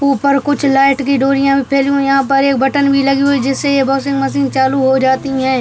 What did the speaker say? ऊपर कुछ लाइट की डोरिया भी फैली हुई है यहाँ पर एक बटन भी लगी हुई जिससे ये वॉशिंग मशीन चालू हो जाती है।